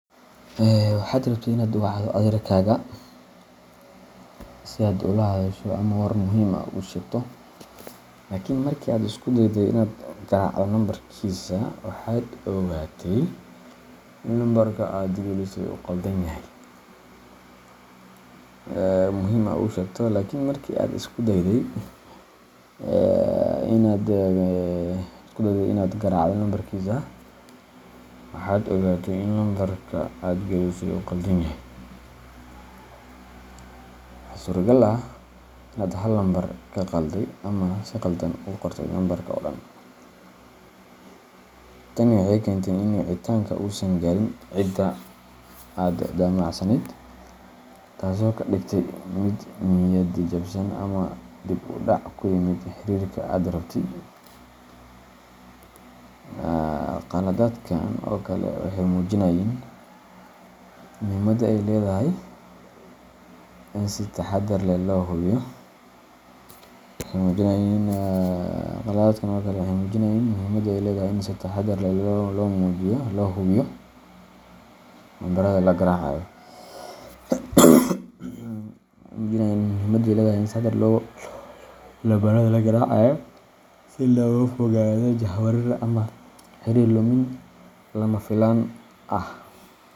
Waxaad rabtay inaad wacdo adeerkaaga si aad ula hadasho ama war muhiim ah ugu sheegto, laakiin markii aad isku dayday inaad garaacdo lambarkiisa, waxaad ogaatey in lambarka aad gelisay uu qaldan yahay. Waxaa suuragal ah inaad hal lambar ka khalday ama si khaldan u qortay lambarka oo dhan. Tani waxay keentay in wicitaanku uusan gaarin cidda aad damacsaneyd, taasoo kaa dhigtay mid niyad-jabsan ama dib u dhac ku yimid xiriirka aad rabtay. Khaladaadkan oo kale waxay muujinayaan muhiimadda ay leedahay in si taxaddar leh loo hubiyo lambarrada la garaacayo, si looga fogaado jahwareer ama xiriir lumin lama filaan ah.